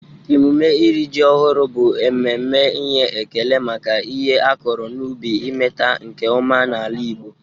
Emume iri ji ọhụrụ bụ mmemme inye ekele maka ihe a kọrọ n'ubi imeta nke ọma n'ala Igbo.